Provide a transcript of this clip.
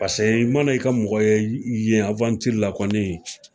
Paseke i mana i ka mɔgɔ ye i yen la kɔni